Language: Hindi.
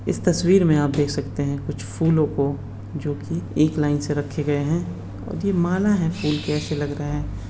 इस तस्वीर में आप देख सकते कुछ फूलों को जो की एक लाईन से रखे गए हैं। और ये माला हैं फूल के ऐसे लग रहे हैं।